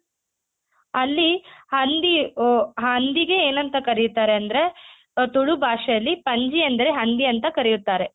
ಅಲ್ಲಿ ಹಂದಿ ಆ ಹಂದಿಗೆ ಎನಂತ ಕರೀತಾರೆ ಅಂದ್ರೆ ಆ ತುಳು ಭಾಷೆಯಲ್ಲಿ ಪಂಜಿ ಅಂದರೆ ಹಂದಿ ಅಂತ ಕರಿಯುತ್ತಾರೆ.